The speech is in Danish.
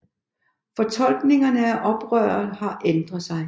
Fortolkningerne af oprøret har ændret sig